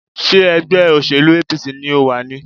Ṣé ẹgbẹ́ òsèlú APC ni o wà ni?